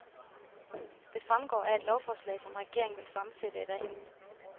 Det fremgår af et lovforslag, som regeringen vil fremsætte i dag.